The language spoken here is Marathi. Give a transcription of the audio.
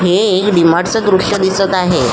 हे एक डी मार्ट च दृश्य दिसत आहे.